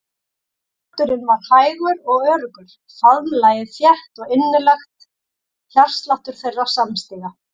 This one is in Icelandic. Takturinn var hægur og öruggur, faðmlagið þétt og innilegt hjartsláttur þeirra samstíga.